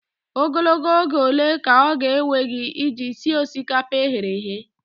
Ogologo oge ole ka ọ ga-ewe gị iji sie osikapa e ghere eghe?